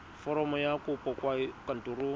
foromo ya kopo kwa kantorong